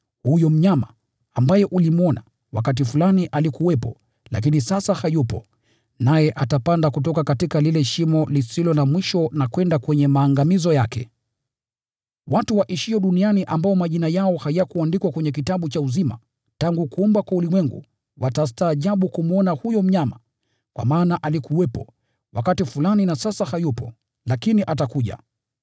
Huyo mnyama ambaye ulimwona, wakati fulani alikuwepo, lakini sasa hayupo, naye atapanda kutoka lile Shimo na kwenda kwenye maangamizo yake. Watu waishio duniani ambao majina yao hayakuandikwa kwenye kitabu cha uzima tangu kuumbwa kwa ulimwengu watastaajabu kumwona huyo mnyama, kwa maana alikuwepo wakati fulani, na sasa hayupo, lakini atakuwepo.